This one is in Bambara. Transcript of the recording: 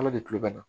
Ala de kulobana